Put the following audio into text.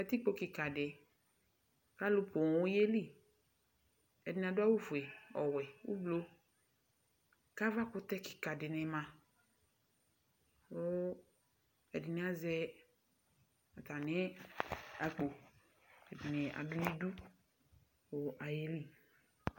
Katikpo kika di alu poo yeli ɛdini adu awu fue ɛdini adu awu wɛ ku avakutɛ kika dini ma ku ɛdini azɛ atami akpo ɛdini ashua nidu kayeli